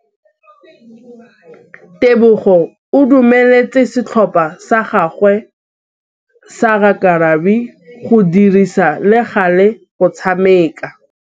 Tebogô o dumeletse setlhopha sa gagwe sa rakabi go dirisa le galê go tshameka.